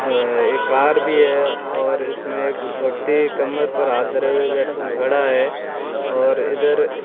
हां एक कार भी है और इसमें एक व्यक्ति कमर पर हाथ धरे हुए बै खड़ा है और इधर --